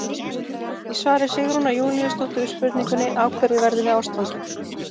Í svari Sigrúnar Júlíusdóttur við spurningunni Af hverju verðum við ástfangin?